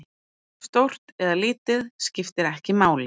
Stórt eða lítið, skiptir ekki máli.